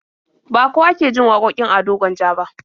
Ba kowa ke jin wakokin Ado Gwanja ba.